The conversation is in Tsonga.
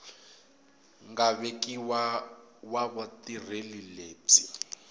nga vekiwa wa vutirheli lebyi